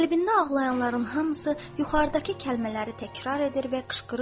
Qəlbində ağlayanların hamısı yuxarıdakı kəlmələri təkrar edir və qışqırırdı.